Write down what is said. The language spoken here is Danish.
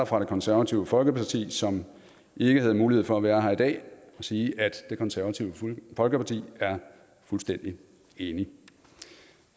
fra det konservative folkeparti som ikke havde mulighed for at være her i dag og sige at det konservative folkeparti er fuldstændig enig